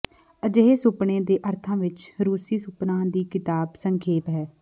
ਅਜਿਹੇ ਸੁਪਨੇ ਦੇ ਅਰਥਾਂ ਵਿਚ ਰੂਸੀ ਸੁਪਨਾ ਦੀ ਕਿਤਾਬ ਸੰਖੇਪ ਹੈ